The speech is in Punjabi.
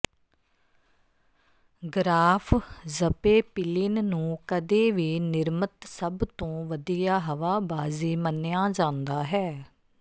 ਗ੍ਰਾਫ ਜ਼ਪੇਪਿਲਿਨ ਨੂੰ ਕਦੇ ਵੀ ਨਿਰਮਿਤ ਸਭ ਤੋਂ ਵਧੀਆ ਹਵਾਬਾਜ਼ੀ ਮੰਨਿਆ ਜਾਂਦਾ ਹੈ